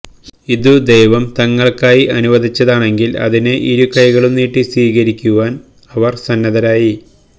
ഇത് ദൈവം തങ്ങൾക്കായി അനുവദിച്ചതാണെങ്കിൽ അതിനെ ഇരുകൈകളും നീട്ടി സ്വീകരിക്കുവാൻ അവർ സന്നദ്ധരായി